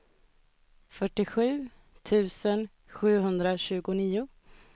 fyrtiosju tusen sjuhundratjugonio